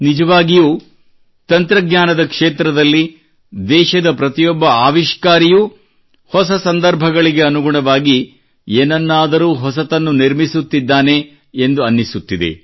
ನಿಜವಾಗಿಯೂ ತಂತ್ರಜ್ಞಾನದ ಕ್ಷೇತ್ರದಲ್ಲಿ ದೇಶದ ಪ್ರತಿಯೊಬ್ಬ ಆವಿಷ್ಕಾರಿಯೂ ಹೊಸ ಸಂದರ್ಭಗಳಿಗೆ ಅನುಗುಣವಾಗಿ ಏನನ್ನಾದರೂ ಹೊಸತನ್ನು ನಿರ್ಮಿಸುತ್ತಿದ್ದಾನೆ ಎಂದು ಅನ್ನಿಸುತ್ತಿದೆ